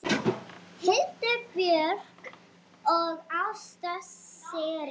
Hildur Björg og Ásta Sirrí.